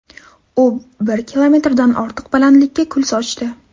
U bir kilometrdan ortiq balandlikka kul sochdi.